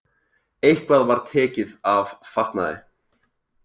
Eitthvað var tekið af fatnaði